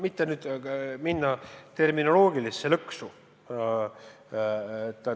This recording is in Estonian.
Ma ei taha nüüd terminoloogilisse lõksu astuda.